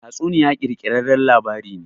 Tatsuniya ƙirƙirarren labari ne.